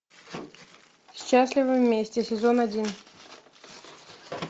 счастливы вместе сезон один